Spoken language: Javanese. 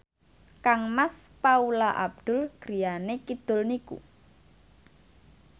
kangmas Paula Abdul griyane kidul niku